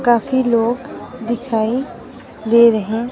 काफी लोग दिखाई दे रहे हैं।